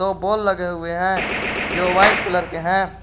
Ball लगे हुए हैं जो वाइट कलर के हैं।